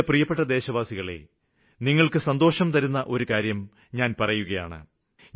എന്റെ പ്രിയപ്പെട്ട ദേശവാസികളെ നിങ്ങള്ക്ക് സന്തോഷം പകരുന്ന ഒരു കാര്യം ഞാന് പറയുകയാണ്